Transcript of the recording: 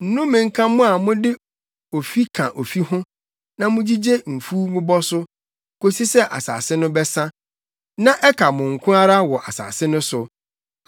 Nnome nka mo a mode ofi ka ofi ho na mugyigye mfuw bobɔ so kosi sɛ asase no bɛsa na ɛka mo nko ara wɔ asase no so.